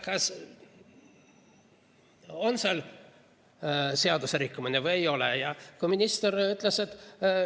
Kas on seal seadusrikkumine või ei ole?